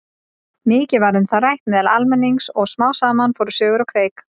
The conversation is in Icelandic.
Mikið var um það rætt meðal almennings og smám saman fóru sögur á kreik.